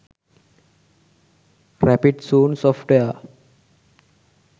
rapid zone software